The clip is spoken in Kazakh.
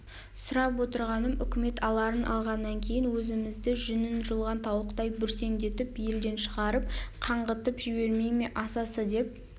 сұрап отырғаным өкімет аларын алғаннан кейін өзімізді жүнін жұлған тауықтай бүрсендетіп елден шығарып қаңғытып жібермей ме асасы деп